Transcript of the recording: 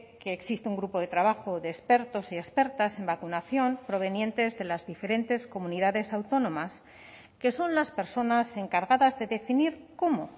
que existe un grupo de trabajo de expertos y expertas en vacunación provenientes de las diferentes comunidades autónomas que son las personas encargadas de definir cómo